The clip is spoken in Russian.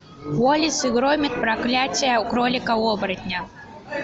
уоллес и громит проклятие кролика оборотня